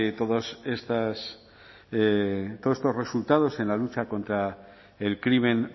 todos estos resultados en la lucha contra el crimen